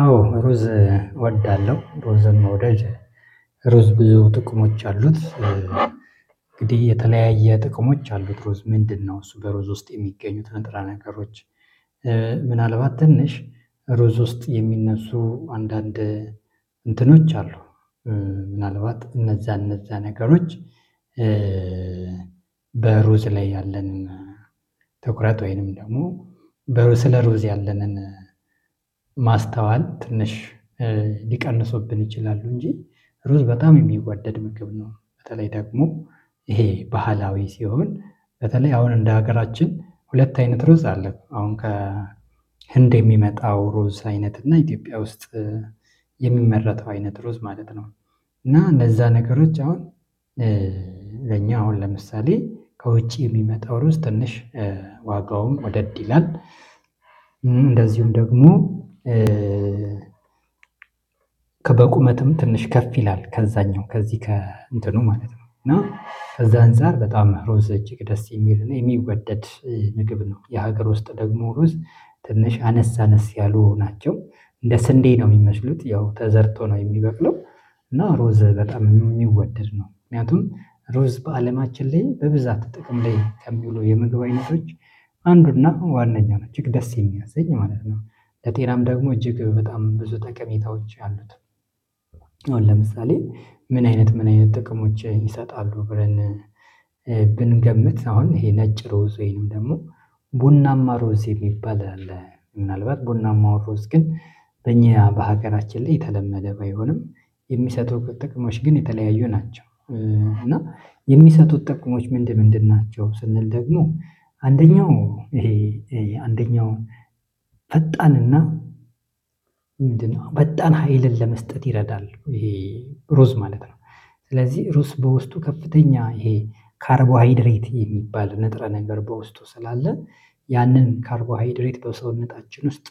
አዎ ሩዝ እወዳለሁ ሩዝን መውደድ ሩዝ ብዙ ጥቅሞች አሉት እንግዲህ የተለያየ ጥቅሞች አሉት ሩዝ ምንድነው? እሱ በሩዝ ውስጥ የሚገኙት ነጥረ ነገሮች ምናልባት ትንሽ ሩዝ ውስጥ የሚነሱ አንዳንድ እንትኖች አሉ ምናልባት እነዛ እነዛ ነገሮች በሩዝ ላይ ያለንን ትኩረት ወይንም ደግሞ በሩዝስለ ሩዝ ያለንን ማስተዋል ትንሽ ሊቀንሱብን ይችላሉ እንጂ ሩዝ በጣም የሚወደድ ምግብ ነው። በተለይ ደግሞ ይሄ ባህላዊ ሲሆን በተለይ አሁን እንደ ሀገራችን ሁለት አይነት ሩዝ አለን አሁን ከህንድ የሚመጣው ሩዝ አይነት እና ኢትዮጵያ ውስጥ የሚመረተው አይነት ሩዝ ማለት ነው። እና እንደዛ ነገሮች አሁን ለኛ አሁን ለምሳሌ ከውጪ የሚመጣው ሩዝ ትንሽ ዋጋውም ወደድ ይላል እንደዚሁም ደግሞ ከበቁመትም ትንሽ ከፍ ይላል ከዛኛው ከዚህ ከእንትኑ ማለት ነው። እና ከዛ አንፃር በጣም ሩዝ እጅግ ደስ የሚል የሚወደድ ምግብ ነው። የሀገር ውስጥ ደግሞ ሩዝ ትንሽ አነስአነስ ያሉ ናቸው እንደ ስንዴ ነው የሚመስሉት ያው ተዘርቶ ነው የሚበቅለው። እና ሩዝ በጣም የሚወደድ ነው ምክንያቱም ሮዝ በአለማችን ላይ በብዛት ጥቅም ላይ ከሚሉ የምግብአይነቶች አንዱ እና ዋነኛ ነው እጅግ ደስ የሚያሰኝ ማለት ነው። ለጤናም ደግሞ እጅግ በጣም ብዙ ጥቅሜታዎች አሉት። አሁን ለምሳሌ ምን አይነት ምን አይነት ጥቅሞች ይሰጣሉ ብለን ብንገምት አሁን ይሄ ነጭ ሩዝ ወይንም ደግሞ ቡናማ ሩዝ የሚባል አለ ምናልባት ቡና ማውሩዝ ግን በእኛ በሀገራችን ላይ የተለመደ ባይሆንም የሚሰጠው ጥቅሞች ግን የተለያዩ ናቸው እና የሚሰጡት ጥቅሞች ምንድን ምንድን ናቸው? ስንል ደግሞ አንደኛው ይሄ አንደኛው ፈጣንና ፈጣን ሀይልን ለመስጠት ይረዳል ይሄ ሩዝ ማለት ነው። ስለዚህ ሩዝ በውስጡ ከፍተኛ ይሄ ካርቦሃይድሬት የሚባል ንጥረ ነገር በውስጡ ስላለ ያንን ካርቦሃይድሬት በሰውነታችን ውስጥ